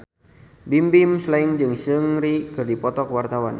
Bimbim Slank jeung Seungri keur dipoto ku wartawan